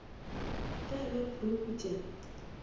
ge a be a phuruputša